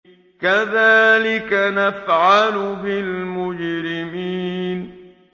كَذَٰلِكَ نَفْعَلُ بِالْمُجْرِمِينَ